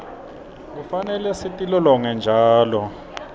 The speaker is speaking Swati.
kufanele sitilolonge njalo